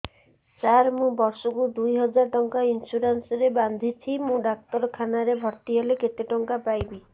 ସାର ମୁ ବର୍ଷ କୁ ଦୁଇ ହଜାର ଟଙ୍କା ଇନ୍ସୁରେନ୍ସ ବାନ୍ଧୁଛି ମୁ ଡାକ୍ତରଖାନା ରେ ଭର୍ତ୍ତିହେଲେ କେତେଟଙ୍କା ପାଇବି